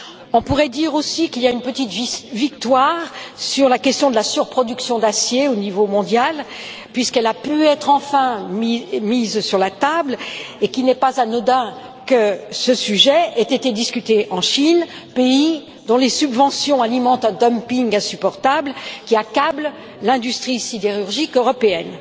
On pourrait dire aussi qu'il y a une petite victoire sur la question de la surproduction d'acier au niveau mondial, puisqu'elle a pu être enfin mise sur la table et qu'il n'est pas anodin que ce sujet ait été discuté en Chine, pays dont les subventions alimentent un dumping insupportable, qui accable l'industrie sidérurgique européenne.